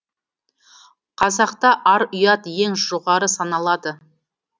қазақта ар ұят ең жоғары саналады